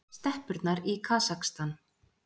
Steppurnar í Kasakstan.